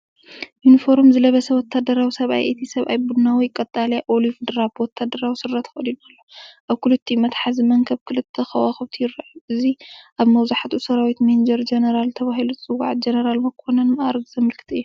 ዩኒፎርም ዝለበሰ ወተሃደራዊ ሰብኣይ እዩ። እቲ ሰብኣይ ቡናዊ ቀጠልያ (ኦሊቭ ድራብ) ወተሃደራዊ ስረ ተኸዲኑ ኣሎ። ኣብ ክልቲኡ መትሓዚ መንኵብ ክልተ ከዋኽብቲ ይረኣዩ። እዚ ኣብ መብዛሕትኡ ሰራዊት ሜጀር ጀነራል ተባሂሉ ዝጽዋዕ ጀነራል መኮነን መዓርግ ዘመልክት እዩ።